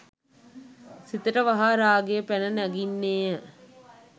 සිතට වහා රාගය පැන නගින්නේ ය.